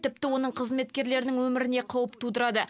тіпті оның қызметкерлерінің өміріне қауіп тудырады